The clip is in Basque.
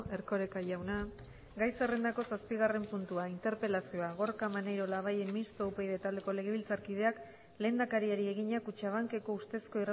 erkoreka jauna gai zerrendako zazpigarren puntua interpelazioa gorka maneiro labayen mistoa upyd taldeko legebiltzarkideak lehendakariari egina kutxabankeko ustezko